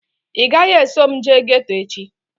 Ị gaghị eso m jee geeto echi